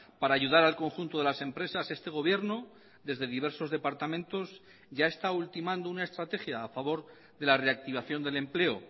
para ayudar al conjunto de las empresas este gobierno desde diversos departamentos ya está ultimando una estrategia a favor de la reactivación del empleo